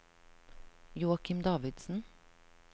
Joakim Davidsen